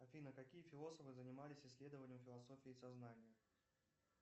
афина какие философы занимались исследованием философии сознания